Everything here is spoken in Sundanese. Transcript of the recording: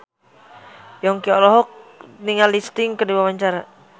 Yongki olohok ningali Sting keur diwawancara